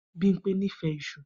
Bimpe nífẹ̀ẹ́ isu.